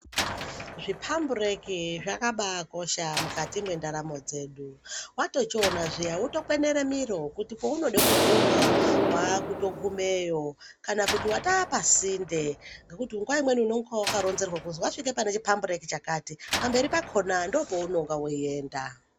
Zvipambureki zvakabakosha mukati mwendaramo dzedu. Watochiona zviya, wotokwenere miro kuti kweunode kuguma wakutogumeyo kana kuti watoo pasinde, ngekuti nguva imweni unenge wakaronzerwa kuzi wasvike pane chipambureki chakati, pamberi pakona ndopounonga woenda.